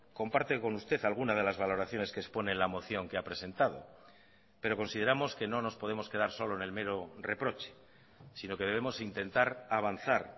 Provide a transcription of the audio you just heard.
comparte con usted alguna de las valoraciones que expone en la moción que ha presentado pero consideramos que no nos podemos quedar solo en el mero reproche sino que debemos intentar avanzar